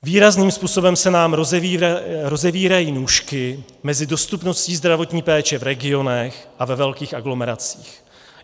Výrazným způsobem se nám rozevírají nůžky mezi dostupností zdravotní péče v regionech a ve velkých aglomeracích.